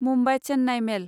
Mumbai Chennai मेल